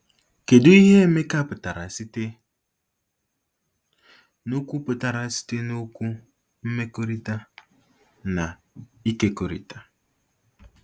Kedu ihe Emeka pụtara site n'okwu pụtara site n'okwu "mmekọrịta" na "ịkekọrịta"?